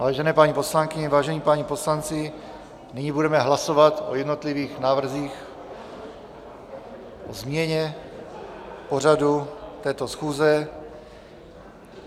Vážené paní poslankyně, vážení páni poslanci, nyní budeme hlasovat o jednotlivých návrzích, o změně pořadu této schůze.